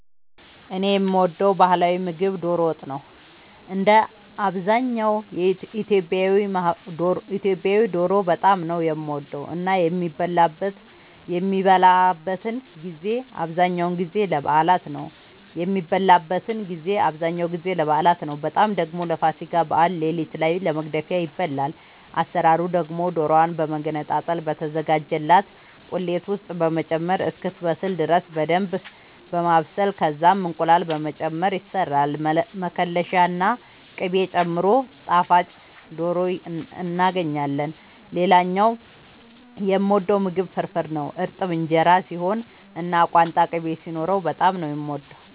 እኔ የምወደው ባህላዊ ምግብ ዶሮ ወጥ ነው። እንደ አብዛኛው ኢትዮጵያዊ ዶሮ በጣም ነው የምወደው እና የሚበላበትን ጊዜ አብዛኛውን ጊዜ ለበዓላት ነው በጣም ደግሞ ለፋሲካ በዓል ሌሊት ላይ ለመግደፊያ ይበላል። አሰራሩ ደግሞ ዶሮዋን በመገነጣጠል በተዘጋጀላት ቁሌት ውስጥ በመጨመር እስክትበስል ድረስ በደንብ በማብሰል ከዛም እንቁላል በመጨመር ይሰራል መከለሻ ና ቅቤ ጨምሮ ጣፋጭ ዶሮ እናገኛለን። ሌላኛው የምወደው ምግብ ፍርፍር ነው። እርጥብ እንጀራ ሲሆን እና ቋንጣ ቅቤ ሲኖረው በጣም ነው የምወደው።